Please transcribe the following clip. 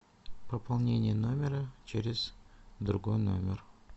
пополнение номера через другой номер